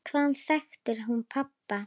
Hvaðan þekkti hún pabba?